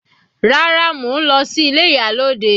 Rárá, mo ń lọ sí ilé ìyálòde.